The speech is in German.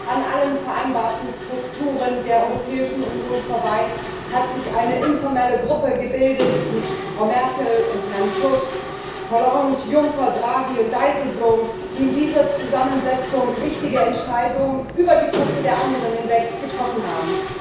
An allen vereinbarten Strukturen der Europäischen Union vorbei hat sich eine informelle Gruppe gebildet mit Frau Merkel und Herrn Tusk, Hollande, Juncker, Draghi und Dijsselbloem, die in dieser Zusammensetzung wichtige Entscheidungen über die Köpfe der anderen hinweg getroffen haben.